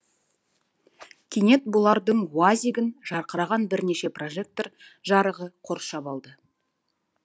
кенет бұлардың уаз игін жарқыраған бірнеше прожектор жарығы қоршап алды